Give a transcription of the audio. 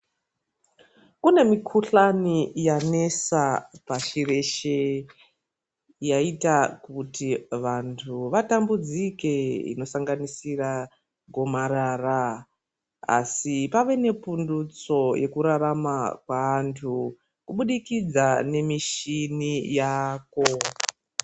Kune mikhuhlani yanesa pashi reshe yaita kuti vantu vatambudzike inosanganisira gomarara asi pave nepundutso yekurarama kweantu kubudikidza nemichini yaako.